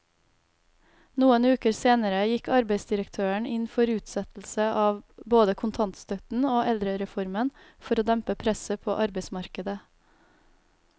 Noen uker senere gikk arbeidsdirektøren inn for utsettelse av både kontantstøtten og eldrereformen for å dempe presset på arbeidsmarkedet.